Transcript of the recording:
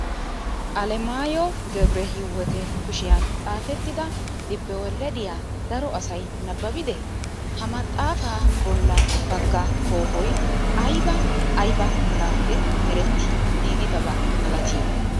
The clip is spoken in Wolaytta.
Alemaayyewu Gebre Hiyweete kushiyaan xaapettida libbowelediyaa daro asay nababidee? Ha maxxaafa bolla bagga koohoyi ayibaa ayiba merappe meretti giigidaba malatii?